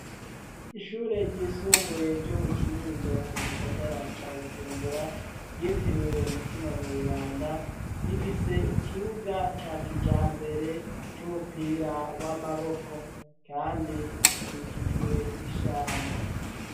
Ishure ry'isumbuye ryo mu kinindo mu gisagara ca bujumbura, ryitiriwe umutima mweranda ,rifise ikibuga ca kijambere c'umupira w'amaboko, kandi rikikijwe n'ishamba.